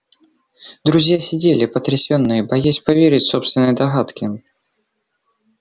друзья сидели потрясённые боясь поверить собственной догадке